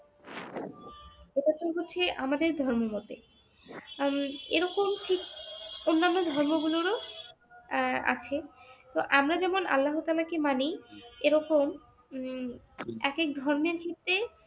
এটা তো হচ্ছে আমাদের ধর্ম মতে উম এইরকম ঠিক অন্যান্য ধর্মগুলোরও আহ আছে । তো আমরা যেমন আল্লাহ তাআলা কে মানি এই রকম উম এক এক ধর্মের ক্ষেত্রে